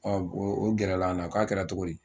O o gɛrɛ la an la, k'a kɛra cogo di ?